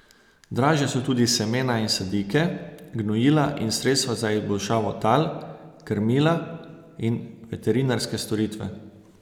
Dražja so tudi semena in sadike, gnojila in sredstva za izboljšavo tal, krmila in veterinarske storitve.